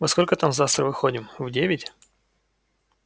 во сколько там завтра выходим в девять